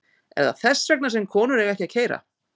Er það vegna þess að konur eiga ekki að keyra????